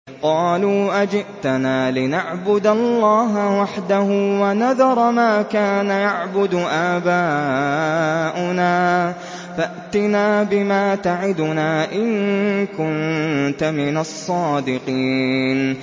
قَالُوا أَجِئْتَنَا لِنَعْبُدَ اللَّهَ وَحْدَهُ وَنَذَرَ مَا كَانَ يَعْبُدُ آبَاؤُنَا ۖ فَأْتِنَا بِمَا تَعِدُنَا إِن كُنتَ مِنَ الصَّادِقِينَ